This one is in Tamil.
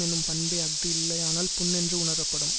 என்னும் பண்பே அஃது இல்லையானால் புண் என்று உணரப்படும்